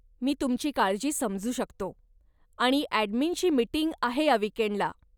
मी तुमची काळजी समजू शकतो आणि ॲडमिनची मिटिंग आहे या विकेंडला.